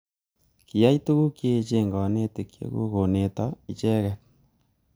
Kiyai tukuk cheech kanetik chechuk koneto icheket.